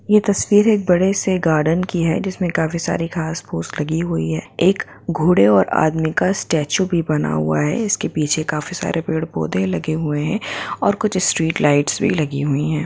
ये तस्वीर एक बड़े से गार्डन की हैं जिसमें काफी सारे घाँस फूस लगी हुई हैं एक घोड़े और आदमी का स्टचु भी बना हुआ हैं इस के पीछे काफी सारे पेड़ पौधे भी लगे हुए हैं और कुछ स्ट्रीट लाईटस भी लगी हुई हैं ।